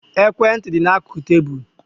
Ekwe ntị dị n'akụkụ tébulu